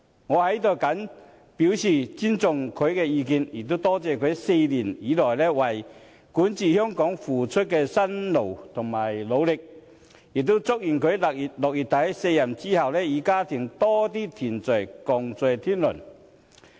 我在此謹表示尊重他的意願，也多謝他4年以來為管治香港付出的辛勞和努力，亦祝願他在6月底卸任之後，與家人多些團聚、共聚天倫。